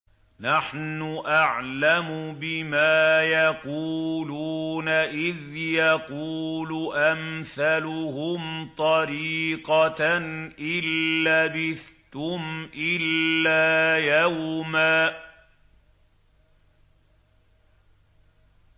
نَّحْنُ أَعْلَمُ بِمَا يَقُولُونَ إِذْ يَقُولُ أَمْثَلُهُمْ طَرِيقَةً إِن لَّبِثْتُمْ إِلَّا يَوْمًا